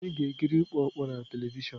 Anyị ga-ekiri ịkụ ọkpọ na telivishọn.